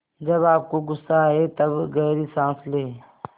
जब आपको गुस्सा आए तब गहरी सांस लें